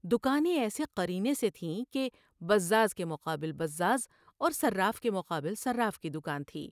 دکا نیں ایسے قرینے سے تھیں کہ بزاز کے مقابل بزاز کی اور صراف کے مقابل صراف کی دکان تھی ۔